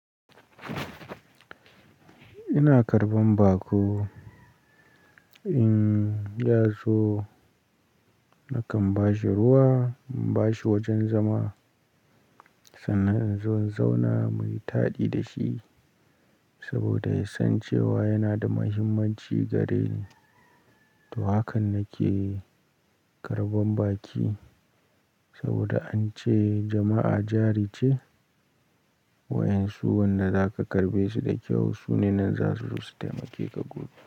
Ina karɓan baƙo, in ya zo nakan ba shi ruwa, ba shi wajen zama, sannan in zo in zauna muyi taɗi da shi saboda ya san cewa yana da muhimmanci gareni. To hakan nake karɓan baƙi saboda an ce jama'a jari ce, wa'yansu wanda zaka karɓe su da kyau sune nan za su zo su taimake ka gobe.